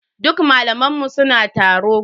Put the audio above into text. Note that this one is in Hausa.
Duk malaman mu suna taro.